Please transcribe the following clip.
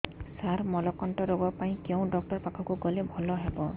ସାର ମଳକଣ୍ଟକ ରୋଗ ପାଇଁ କେଉଁ ଡକ୍ଟର ପାଖକୁ ଗଲେ ଭଲ ହେବ